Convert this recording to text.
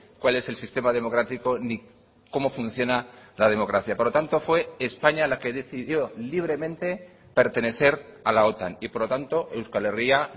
cuál es el sistema democrático ni cómo funciona la democracia por lo tanto fue españa la que decidió libremente pertenecer a la otan y por lo tanto euskal herria